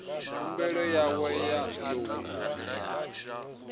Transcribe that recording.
khumbelo yawe ya lounu ḽoan